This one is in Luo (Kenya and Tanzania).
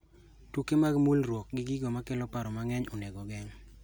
Tuke mag mulruok gi gigo makelo paro mang'eny onego geng'